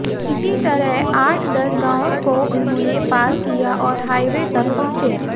इसी तरह आठ दस गांवों को उन्होंने पार किया और हाईवे तक पहुंचे